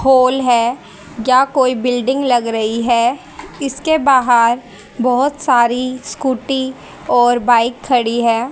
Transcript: Whole है या कोई बिल्डिंग लग रही हैं इसके बाहर बहोत सारी स्कूटी और बाइक खड़ी है।